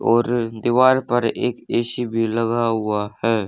और दीवार पर एक ए_सी भी लगा हुआ है।